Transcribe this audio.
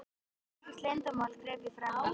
Það er ekkert leyndarmál, greip ég fram í.